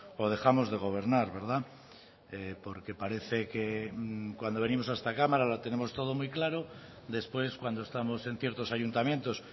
o dejamos de gobernar verdad porque parece que cuando venimos a esta cámara lo tenemos todo muy claro después cuando estamos en ciertos ayuntamientos